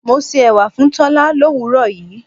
Mo se ẹwà fún Tola l'òwúrò yìí.